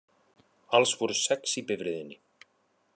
Alls voru sex í bifreiðinni